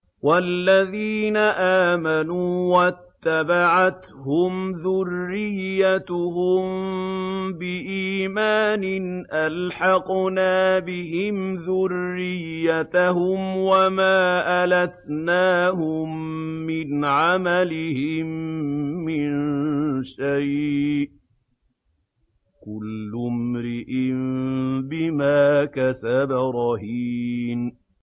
وَالَّذِينَ آمَنُوا وَاتَّبَعَتْهُمْ ذُرِّيَّتُهُم بِإِيمَانٍ أَلْحَقْنَا بِهِمْ ذُرِّيَّتَهُمْ وَمَا أَلَتْنَاهُم مِّنْ عَمَلِهِم مِّن شَيْءٍ ۚ كُلُّ امْرِئٍ بِمَا كَسَبَ رَهِينٌ